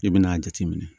I bɛna a jateminɛ